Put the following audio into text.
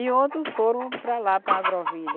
E outros foram para lá, para Agrovilha.